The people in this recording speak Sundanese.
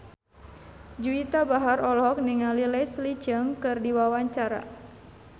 Juwita Bahar olohok ningali Leslie Cheung keur diwawancara